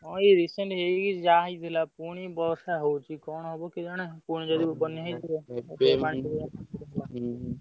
ହଁ ଏଇ recent ହେଇକି ଯାଇଥିଲା ପୁଣି ବର୍ଷା ହଉଛି କଣ ହବ କେଜାଣି ପୁଣି ଯଦି ବନ୍ୟା ହେଇଯିବ ।